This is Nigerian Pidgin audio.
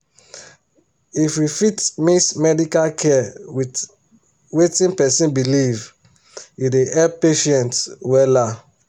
if we fit mix medical care with wetin person believe e dey help patients wella